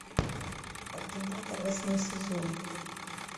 ординатор восьмой сезон